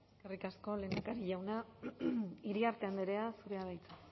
eskerrik asko lehendakari jauna iriarte andrea zurea da hitza